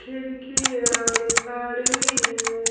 लड़की है और एक आदमी है।